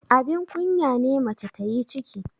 abin kunya ne mace ta yi ciki